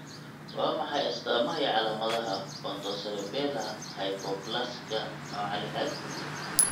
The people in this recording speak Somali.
Waa maxay astamaha iyo calaamadaha Pontocerebella hypoplasika nooca lixad?